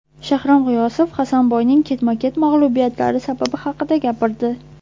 Shahram G‘iyosov Hasanboyning ketma-ket mag‘lubiyatlari sababi haqida gapirdi .